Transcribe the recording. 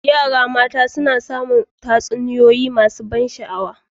Yaran mata suna samun tatsuniyoyi masu ban sha'awa.